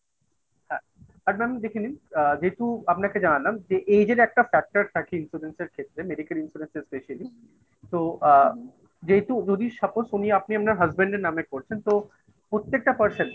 একবার আমি দেখে নিন আ যেহেতু আপনাকে জানালাম যে এই যে একটা factor থাকে insurance এর ক্ষেত্রে medical insurance এর specially তো আ যেহেতু suppose উনি আপনি আপনার Husband এর নামে করছেন তো প্রত্যেকটা person